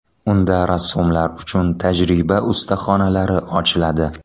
Unda rassomlar uchun tajriba ustaxonalari ochiladi.